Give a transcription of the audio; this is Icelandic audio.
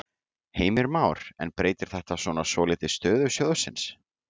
Heimir Már: En breytir þetta svona svolítið stöðu sjóðsins?